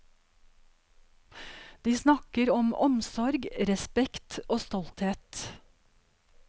De snakker om omsorg, respekt og stolthet.